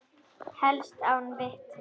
Helst án vitna.